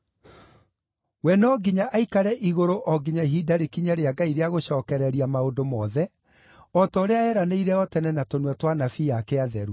We no nginya aikare igũrũ o nginya ihinda rĩkinye rĩa Ngai rĩa gũcookereria maũndũ mothe, o ta ũrĩa eranĩire o tene na tũnua twa anabii aake atheru.